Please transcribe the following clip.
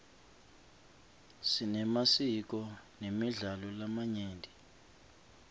sinemasiko nemidlalo lamanyenti